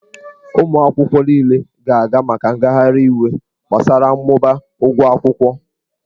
Ụmụ akwụkwọ niile ga-aga maka ngagharị iwe gbasara mmụba ụgwọ akwụkwọ.